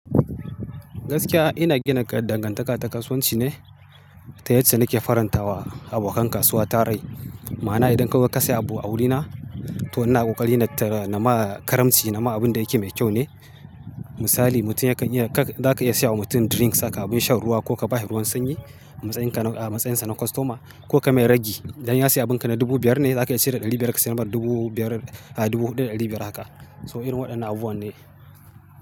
Gaskiya ina gina dangantaka ta kasuwanci ne ta yacca nake faranta wa abokan kasuwa tarai. Ma'ana idan kazo ka sayi abu a wurina, to ina kokari na tara na ma karamci, na ma abin da yake mai kyau ne. Misali mutum ya kan iya, ka, za ka iya siyo wa mutum drinks, haka abin shan ruwa ko ka ba shi ruwan sanyi matsayin ka na, a matsayinsa na kostoma ko ka mai ragi. Dan ya sayi abin ka na dubu biyar ne, za ka cire ɗari biyar ka sayar masa dubu biyar, a'a dubu huɗu da ɗali biyar haka. So irin waɗannan abu wan ne.